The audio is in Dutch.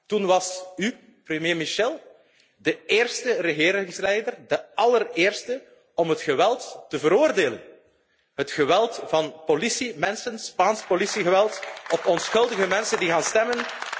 Toen was u, premier Michel, de eerste regeringsleider, de allereerste, om het geweld te veroordelen, het geweld van politiemensen, Spaans politiegeweld tegen onschuldige mensen die gaan stemmen.